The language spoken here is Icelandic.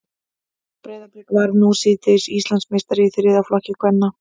Breiðablik varð nú síðdegis Íslandsmeistari í þriðja flokki kvenna.